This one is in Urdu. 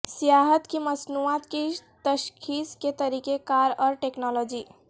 سیاحت کی مصنوعات کی تشخیص کے طریقہ کار اور ٹیکنالوجی